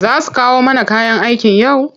Za su kawo mana kayan aikin yau?